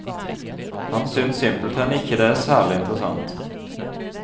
Han synes simpelthen ikke det er særlig interessant.